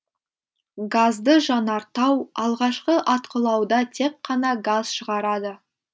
газды жанартау алғашқы атқылауда тек қана газ шығарады